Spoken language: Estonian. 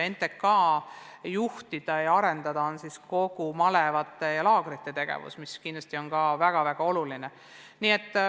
NTK juhtide arendada on ka kogu malevate ja laagrite tegevus, mis kindlasti on samuti väga oluline.